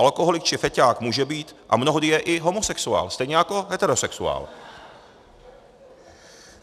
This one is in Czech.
Alkoholik či feťák může být a mnohdy je i homosexuál, stejně jako heterosexuál.